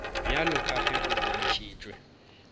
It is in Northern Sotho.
bjalo ka ge go bontšhitšwe